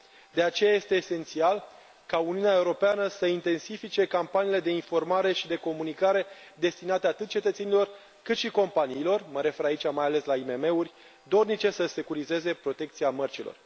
De aceea este esențial ca Uniunea Europeană să intensifice campaniile de informare și de comunicare destinate atât cetățenilor, cât și companiilor mă refer aici mai ales la IMM uri dornice să securizeze protecția mărcilor.